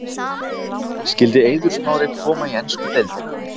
Skyldi Eiður Smári koma í ensku deildina?